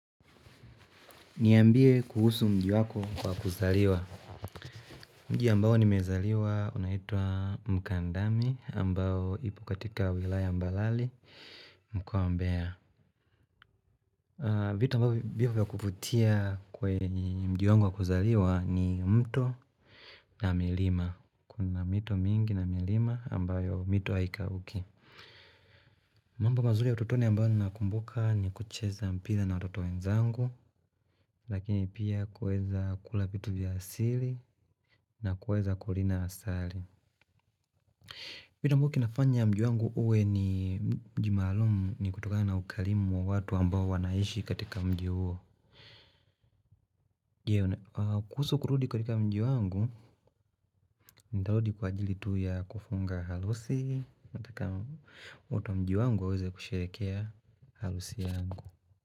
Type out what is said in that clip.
Niambie kuhusu mji wako wa kuzaliwa Mji ambao nimezaliwa unaitwa mkandami ambao ipo katika wilaya mbalali mko wa mbeya vitu ambavyo vipo kuvutia kwa mji wangu wa kuzaliwa ni mto na milima Kuna mito mingi na milima ambayo mito haikauki mambo mazuri ya ututoni ambao ninakumbuka ni kucheza mpira na watoto wenzangu Lakini pia kueza kula vitu vya asili nakueza kulinda asali vitu ambao kinafanya mji wangu uwe ni mji maalumu ni kutoka na ukarimu wa watu ambao wanaishi katika mji huo kuhusu kurudi katika mji wangu, ntarudi kwa ajili tu ya kufunga harusi watu wa mji wangu waweza kusherehekea harusi yangu.